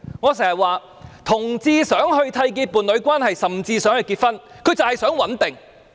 我經常說，同志希望締結伴侶關係，甚至希望結婚的原因是他們想穩定。